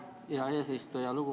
Aitäh, hea eesistuja!